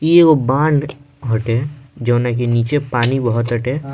इ एगो बांध हटे जौना की नीचे पानी बह ताटे।